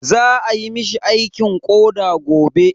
Za ayi mishi aikin koɗa gobe.